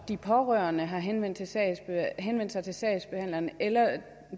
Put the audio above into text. de pårørende har henvendt henvendt sig til sagsbehandleren eller at